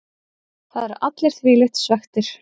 Það eru allir þvílíkt svekktir.